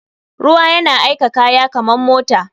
Ruwa yan aika kaya kaman mota.